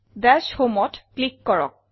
দাশ Homeত ক্লিক কৰক